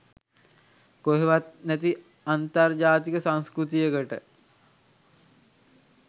කොහේවත් නැති අන්තර් ජාතික සංස්කෘතියකට